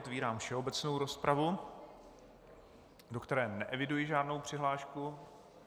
Otevírám všeobecnou rozpravu, do které neeviduji žádnou přihlášku.